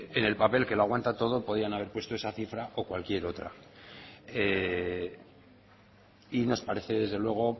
en el papel que lo aguanta todo podían haber puesto esa cifra o cualquier otra y nos parece desde luego